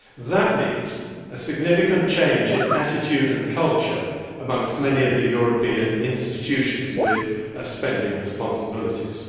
That means a significant change in attitude and culture amongst many of the European institutions with spending responsibilities.